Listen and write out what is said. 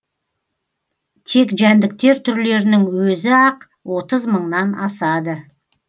тек жәндіктер түрлерінің өзі ақ отыз мыңнан асады